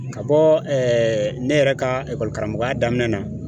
Ka bɔ ne yɛrɛ ka karamɔgɔya daminɛ na